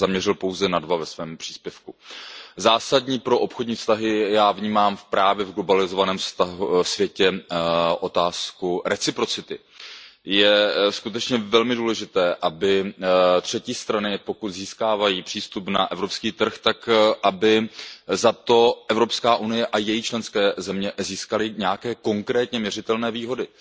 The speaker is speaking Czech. Já bych se zaměřil pouze na dva ve svém příspěvku. Jako zásadní pro obchodní vztahy já vnímám v globalizovaném světě právě otázku reciprocity. Je skutečně velmi důležité, aby třetí strany, pokud získávají přístup na evropský trh, tak aby za to EU a její členské země získaly nějaké konkrétně měřitelné výhody.